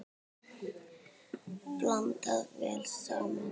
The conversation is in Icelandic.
Blandað vel saman.